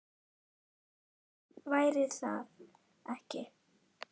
Annað væri það ekki.